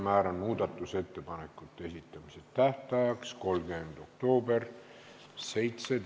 Määran muudatusettepanekute esitamise tähtajaks 30. oktoobri kell 17.